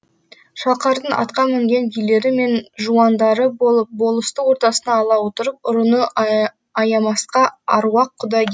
шалқардың атқа мінген билері мен жуандары болып болысты ортасына ала отырып ұрыны аямасқа аруақ құдай